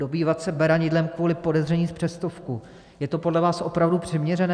Dobývat se beranidlem kvůli podezření z přestupku - je to podle vás opravdu přiměřené?